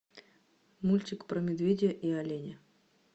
мультик про медведя и оленя